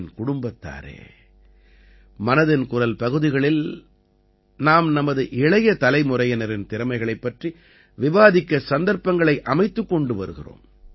என் குடும்பத்தாரே மனதின் குரல் பகுதிகளில் நாம் நமது இளைய தலைமுறையினரின் திறமைகளைப் பற்றி விவாதிக்க சந்தர்ப்பங்களை அமைத்துக் கொண்டு வருகிறோம்